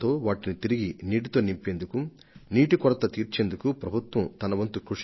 కరవు సమస్యను పరిష్కరించడానికి జల సంక్షోభం నుంచి ఉపశమనం కలిగించడానికి ప్రభుత్వాలు ప్రయత్నాలు చేస్తున్నాయి